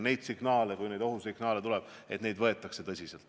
Kui ohusignaale tuleb, siis neid võetakse tõsiselt.